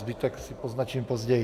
Zbytek si poznačím později.